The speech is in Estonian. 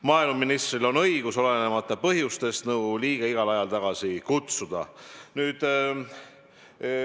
Maaeluministril on õigus, olenemata põhjustest, nõukogu liige igal ajal tagasi kutsuda.